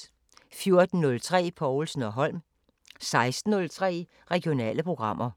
14:03: Povlsen & Holm 16:03: Regionale programmer